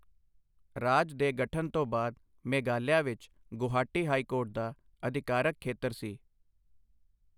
ਰਾਜ ਦੇ ਗਠਨ ਤੋਂ ਬਾਅਦ, ਮੇਘਾਲਿਆ ਵਿੱਚ ਗੁਹਾਟੀ ਹਾਈ ਕੋਰਟ ਦਾ ਅਧਿਕਾਰਕ ਖੇਤਰ ਸੀ।